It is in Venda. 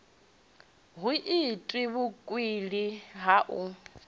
hu itwe vhukwila ha u